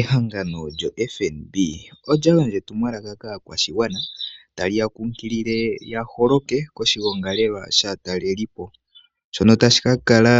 Ehangano lyoFNB olya gandja etumwalaka kaakwashigwana ta li ya kunkilile ya holoke koshigongi shaakalelipo, shono tashi ka kala